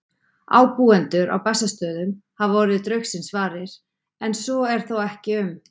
Ábúendur á Bessastöðum hafa orðið draugsins varir, en svo er þó ekki um